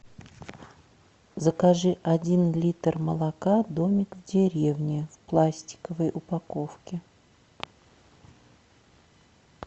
закажи один литр молока домик в деревне в пластиковой упаковке